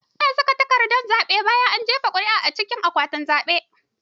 Ana saka takardar zaɓe bayan an jefa ƙuri'a a cikin akwatin zaɓe.